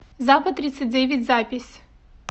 запад тридцать девять запись